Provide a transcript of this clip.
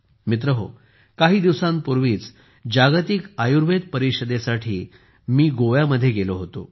मित्रहो काही दिवसांपूर्वीच जागतिक आयुर्वेद परिषदेसाठी मी गोव्यामध्ये गेलो होतो